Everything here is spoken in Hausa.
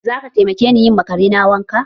Za ka taimake ni yi ma Kare na wanka?